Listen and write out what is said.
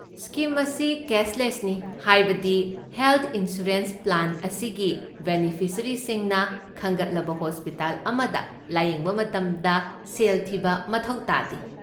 Scheme ꯑꯁꯤ ꯀꯦꯁꯂꯦꯁꯅꯤ, ꯍꯥꯏꯕꯗꯤ ꯍꯦꯜꯊ ꯏꯟꯁꯣꯔꯦꯟꯁ ꯄ꯭ꯂꯥꯟ ꯑꯁꯤꯒꯤ ꯕꯦꯅꯤꯐꯤꯁꯔꯤꯁꯤꯡꯅ ꯈꯟꯒꯠꯂꯕ ꯍꯣꯁꯄꯤꯇꯥꯜ ꯑꯃꯗ ꯂꯥꯌꯦꯡꯕ ꯃꯇꯝꯗ ꯁꯦꯜ ꯊꯤꯕ ꯃꯊꯧ ꯇꯥꯗꯦ꯫